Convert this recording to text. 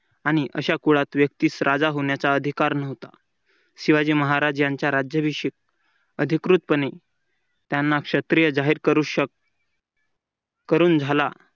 आणि अशा कुळत व्यक्तीस राजा होण्याचा अधिकार नव्हता शिवाजी महाराजांचा राज्याभिषेक अधिकृतपणे त्यांना क्षत्रिय जाहीर करू शक करून झाला.